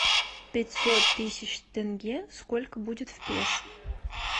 пятьсот тысяч тенге сколько будет в песо